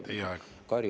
Teie aeg!